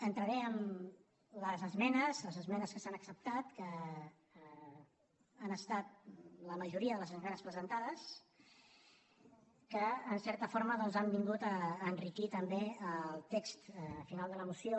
entraré en les esmenes les esmenes que s’han acceptat que han estat la majoria de les esmenes presentades que en certa forma han vingut a enriquir també el text final de la moció